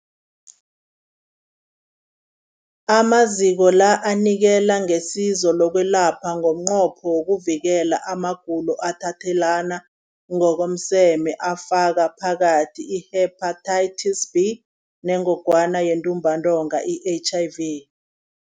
Amaziko la anikela ngesizo lokwelapha ngomnqopho wokuvikela amagulo athathelana ngokomseme afaka phakathi i-Hepatitis B neNgogwana yeNtumbantonga, i-HIV.